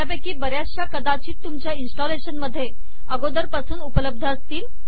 त्यापैकी बर्याचश्या कदाचित तुमच्या इन्स्टलेशनमध्ये अगोदर पासून उपलब्ध असतील